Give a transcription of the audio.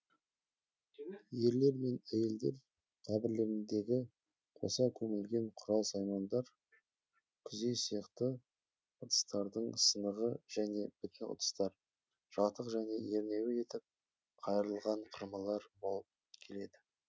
ерлер мен әйелдер қабірлеріндегі қоса көмілген құрал саймандар күзе сияқты ыдыстардың сынығы және бүтін ыдыстар жатық және ернеуі етіп қайырылған кұрмалар болып келеді